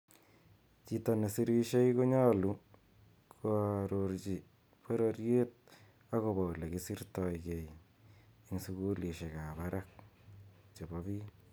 Chito ne sirishei konyalu koaarochi pororiet ako bo ole kisirtai kei eng sukulishik ab barak che po pik.